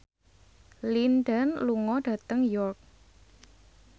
Lin Dan lunga dhateng York